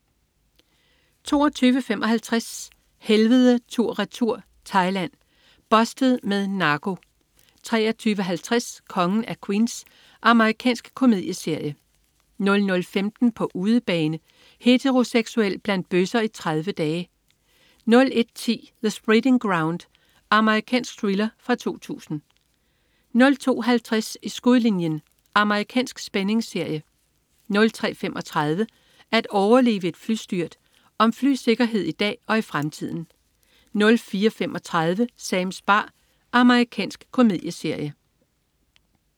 22.55 Helvede tur/retur. Thailand. "Bustet" med narko 23.50 Kongen af Queens. Amerikansk komedieserie 00.15 På udebane. Heteroseksuel blandt bøsser i 30 dage! 01.10 The Spreading Ground. Amerikansk thriller fra 2000 02.50 I skudlinjen. Amerikansk spændingsserie 03.35 At overleve et flystyrt. Om flysikkerhed i dag og i fremtiden 04.35 Sams bar. Amerikansk komedieserie